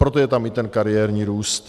Proto je tam i ten kariérní růst.